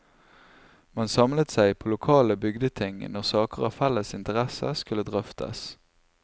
Man samlet seg på lokale bygdeting når saker av felles interesse skulle drøftes.